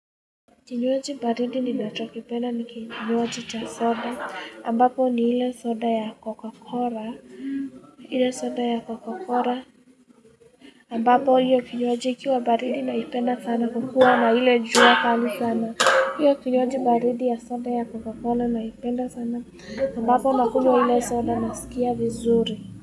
Kinywaji baridi ninacho kipenda ni kinywaji cha soda ambapo ni hile soda ya Coca-Cola hile soda ya Coca-Cola ambapo hiyo kinywaji ikiwa baridi naipenda sana kwakua na ile jua kali sana hiyo kinywaji baridi ya soda ya Coca-Cola naipenda sana ambapo nakunywa ile soda nasikia vizuri.